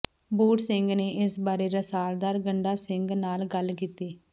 ਬੂੜ ਸਿੰਘ ਨੇ ਇਸ ਬਾਰੇ ਰਸਾਲਦਾਰ ਗੰਡਾ ਸਿੰਘ ਨਾਲ ਗੱਲ ਕੀਤੀ